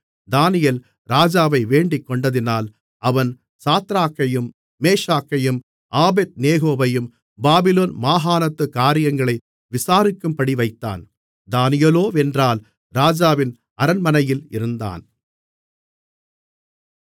தானியேல் ராஜாவை வேண்டிகொண்டதினால் அவன் சாத்ராக்கையும் மேஷாக்கையும் ஆபேத்நேகோவையும் பாபிலோன் மாகாணத்துக் காரியங்களை விசாரிக்கும்படிவைத்தான் தானியேலோவென்றால் ராஜாவின் அரண்மனையில் இருந்தான்